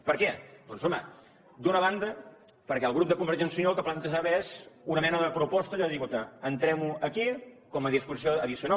per què doncs home d’una banda perquè el grup de convergència i unió el que plantejava és una mena de proposta allò de dir entrem ho aquí com a disposició addicional